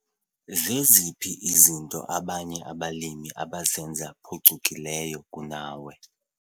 Zeziphi izinto abanye abalimi abazenza phucukileyo kunawe?